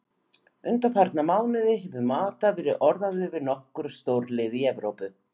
Undanfarna mánuði hefur Mata verið orðaður við nokkur stórlið í Evrópu.